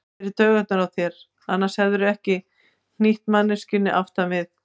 Ég fer í taugarnar á þér, annars hefðirðu ekki hnýtt manneskjunni aftan við.